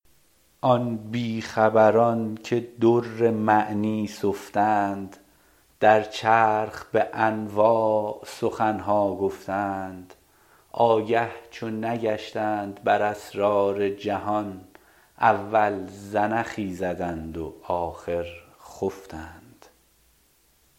آن بیخبران که در معنی سفتند در چرخ به انواع سخن ها گفتند آگه چو نگشتند بر اسرار جهان اول زنخی زدند و آخر خفتند